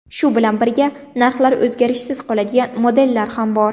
Shu bilan birga, narxlari o‘zgarishsiz qoladigan modellar ham bor.